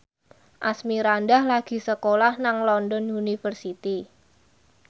Asmirandah lagi sekolah nang London University